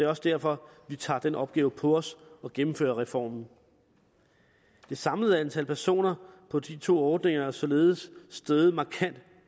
også derfor vi tager den opgave på os at gennemføre reformen det samlede antal personer på de to ordninger er således steget markant